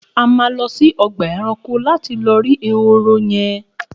A má lõsí õgbá èrankó lati lõ rí èhóró yen